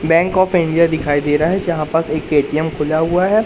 Bank of India दिखाई दे रहा है जहां पास एक ए_टी_एम खुला हुआ है।